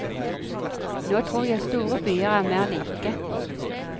Nå tror jeg store byer er mer like.